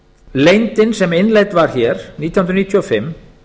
leyndin sem innleidd var hér nítján hundruð níutíu og fimm